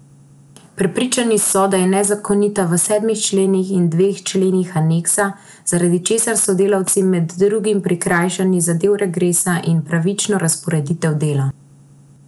Prepričani so, da je nezakonita v sedmih členih in dveh členih aneksa, zaradi česar so delavci med drugim prikrajšani za del regresa in pravično razporeditev dela.